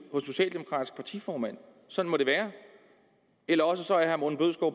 hos partiformand sådan må det være eller også